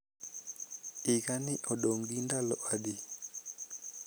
higa ni odong gi ndalo adi